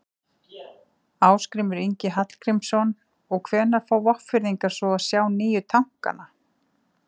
Ásgrímur Ingi Arngrímsson: Og hvenær fá Vopnfirðingar svo að sjá nýju tankana?